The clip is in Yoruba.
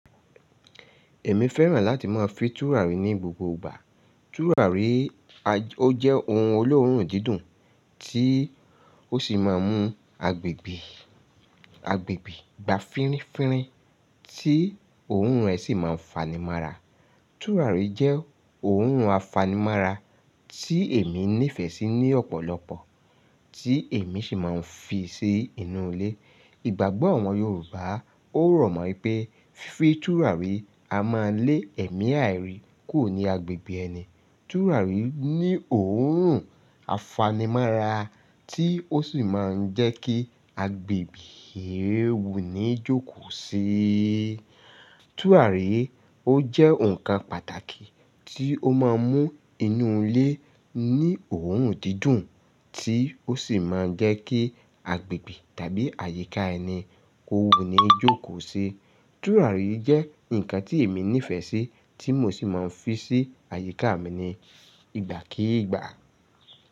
Èmi fẹ́ràn láti máa fi tùràrí ní gbogbo ìgbà. Tùràrí ó jẹ́ ohun olóòórùn dídùn tí ó sì máa ń mú agbègbè, agbègbè gba fínfínfín tí òórùn rẹ̀ sì máa ń fanimọ́ra. Tùràrí jẹ́ òórùn afanimọ́ra tí èmi nífẹ̀ẹ́ sí ní ọ̀pọ̀lọpọ̀, tí èmi sì máa ń fi sí inú ilé. Ìgbàgbọ́ àwọn Yorùbá ó rọ̀ mọ pé fí tùràrí a máa lé ẹ̀mí àìrí kuro ní agbègbè ẹni. Tùràrí ní òórùn afanimọ́ra tí ó sì máa ń jẹ́ kí agbègbè wù ní jókòó síi. Tùràrí ó jẹ́ ǹkan pàtàkì tí ó máa ń mú inú ilé ní òórùn dídùn tí ó sì máa ń jẹ́ kí agbègbè tàbí àyíká ẹni kó wù ní jókòó síi. Tùràrí jẹ́ ǹkan tí èmi nífẹ̀ẹ́ sí tí mo sì máa ń fi sí àyíká mi ní ìgbàkígbà.